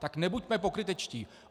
Tak nebuďme pokrytečtí.